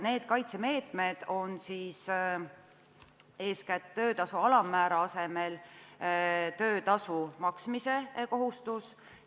Eeskätt on tegu töötasu alammäära asemel teistsuguse töötasu maksmise kohustusega.